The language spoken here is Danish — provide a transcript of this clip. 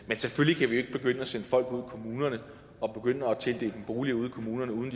men selvfølgelig kan vi ikke begynde at sende folk ud i kommunerne og begynde at tildele dem boliger ude i kommunerne uden